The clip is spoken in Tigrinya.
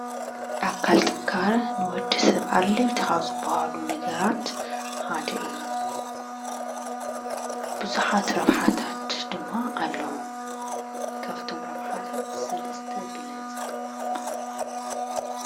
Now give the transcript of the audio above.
ኣካል ጥንካረ ንወድሰብ ኣድለይቲ ካብ ዝበሃሉ ነገራት ሓደ እዩ፡፡ ብዙሓት ረብሓታት ድማ ኣለዉዎ፡፡ ካብቶም ረብሓታት ሰለስተ ግለፅ?